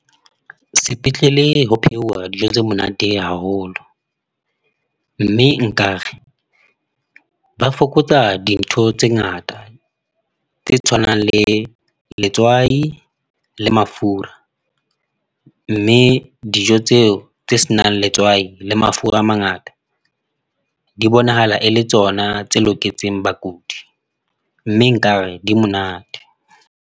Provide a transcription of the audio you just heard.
Sepetlele ho pheuwa dijo tse monate haholo, mme nkare ba fokotsa dintho tse ngata tse tshwanang le letswai le mafura, mme dijo tseo tse senang letswai le mafura a mangata, di bonahala e le tsona tse loketseng bakudi mme nkare di monate.